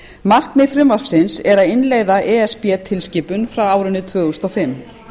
markmið frumvarpsins er að innleiða e s b tilskipun frá árinu tvö þúsund og fimm